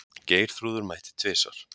Geirþrúður mætti tvisvar.